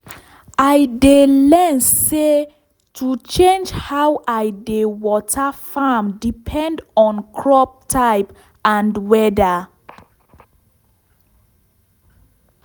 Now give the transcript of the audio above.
i learn say to change how i dey water farm depend on crop type and weather